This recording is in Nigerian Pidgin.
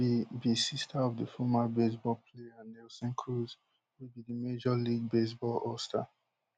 she be be sister of di former baseball player nelson cruz wey be di major league baseball allstar